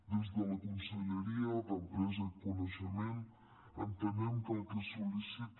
des de la conselleria d’empresa i coneixement entenem que el que es sol·licita